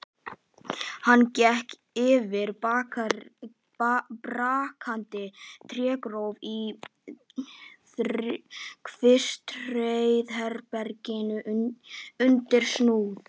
Hann gekk yfir brakandi trégólf í kvistherbergi undir súð.